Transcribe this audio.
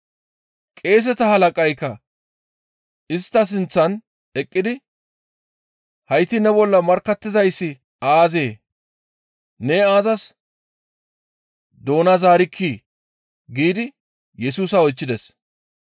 Qeeseta halaqaykka istta sinththan eqqidi, «Hayti ne bolla markkattizayssi aazee? Ne aazas doona zaarikkii?» giidi Yesusa oychchides.